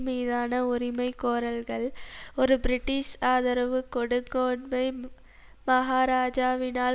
மீதான உரிமைகோரல்கள் ஒரு பிரிட்டிஷ் ஆதரவு கொடுங்கோன்மை மகாராஜாவினால்